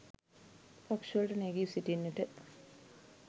පක්ෂ වලට නැගී සිටින්නට